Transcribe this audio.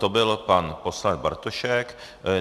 To byl pan poslanec Bartošek.